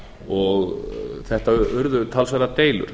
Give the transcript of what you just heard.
og þetta urðu talsverðar deilur